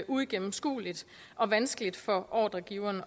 uigennemskueligt og vanskeligt for ordregiveren